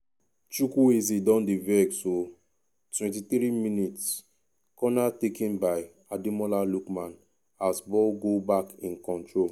chukwueze don dey vex oooo 23mins- corner taken by ademola lookman as ball go back in control.